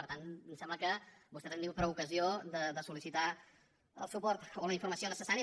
per tant ens sembla que vostès han tingut prou ocasió de sol·licitar el suport o la informació necessaris